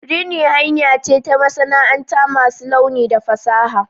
Rini hanya ce ta masana'anta masu launi da fasaha.